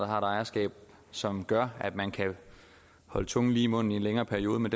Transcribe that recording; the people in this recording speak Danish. har et ejerskab som gør at man kan holde tungen lige i munden i en længere periode men